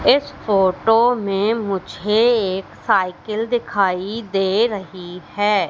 इस फोटो में मुझे एक साइकिल दिखाई दे रही है।